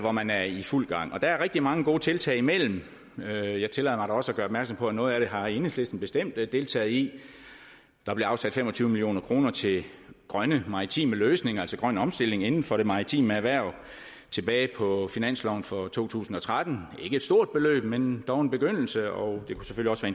og man er i fuld gang der er rigtig mange gode tiltag imellem og jeg tillader mig da også at gøre opmærksom på at noget af det har enhedslisten bestemt deltaget i der blev afsat fem og tyve million kroner til grønne maritime løsninger altså grøn omstilling inden for det maritime erhverv tilbage på finansloven for to tusind og tretten det ikke et stort beløb men dog en begyndelse og